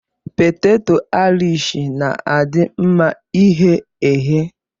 Peteto aịrish na-adị mma ighe eghe.